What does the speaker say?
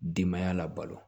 Denbaya la balo